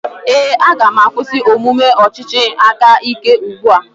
Ee, aga m akwụsị omume ọchịchị aka ike ugbu a.